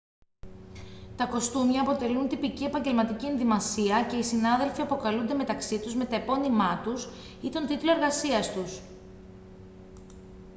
τα κοστούμια αποτελούν τυπική επαγγελματική ενδυμασία και οι συνάδελφοι αποκαλούνται μεταξύ τους με τα επώνυμά τους ή τον τίτλο εργασίας τους